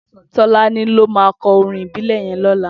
Tolani ló mà kò órìn ibilè yèn lòlá